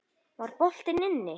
Var boltinn inni?